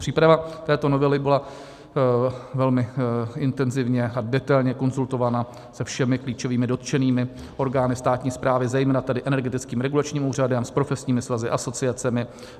Příprava této novely byla velmi intenzivně a detailně konzultována se všemi klíčovými dotčenými orgány státní správy, zejména tedy Energetickým regulačním úřadem, s profesními svazy, asociacemi.